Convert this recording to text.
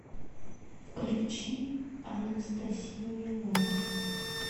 включи анастасия лапина